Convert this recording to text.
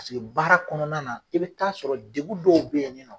Paseke baara kɔnɔna na i bi taa sɔrɔ degun dɔw be yen ni nɔn